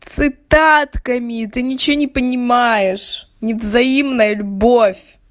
цитатками ты ничего не понимаешь не взаимная любовь